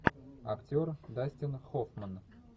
актер дастин хоффман